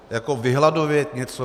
Jako vyhladovět něco?